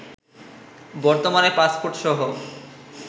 বর্তমানে পাসপোর্টসহ